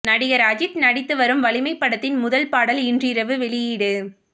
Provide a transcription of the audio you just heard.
நடிகர் அஜித் நடித்து வரும் வலிமை படத்தின் முதல் பாடல் இன்றிரவு வெளியீடு